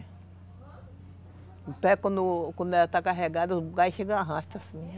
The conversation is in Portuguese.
O pé, quando quando ela está carregada, o gás chega arrasta assim.